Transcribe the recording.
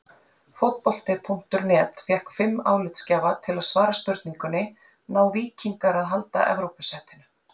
Fótbolti.net fékk fimm álitsgjafa til að svara spurningunni: Ná Víkingar að halda Evrópusætinu?